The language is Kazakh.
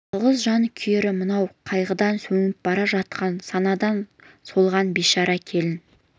жалғыз жан күйері мынау қайғыдан сөніп бара жатқан санадан солған бишара келін